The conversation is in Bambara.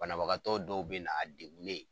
Banabagatɔ dɔw bɛ na a degulen.